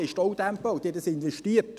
Sie bauten Staudämme und investierten.